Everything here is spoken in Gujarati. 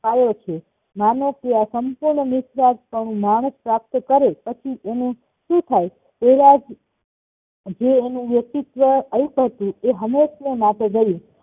પાયો છે માણસ એ આ સામતોલન વિશ્વાસ પણું માણસ પ્રાપ્ત કરે પછી એનું શું થાય? તેઆજ જે એનું વ્યકતિત્વ આપ્યુંતું એ હંમેશ ને માટે ગયું